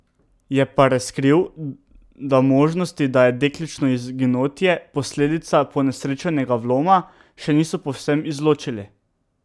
Je pa razkril, da možnosti, da je dekličino izginotje posledica ponesrečenega vloma, še niso povsem izločili.